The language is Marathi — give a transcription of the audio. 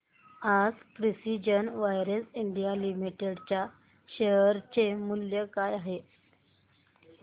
आज प्रिसीजन वायर्स इंडिया लिमिटेड च्या शेअर चे मूल्य काय आहे